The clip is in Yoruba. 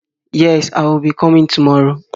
Yes, I will be coming tomorrow